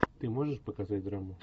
ты можешь показать драму